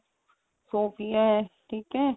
Sophia ਠੀਕ ਏ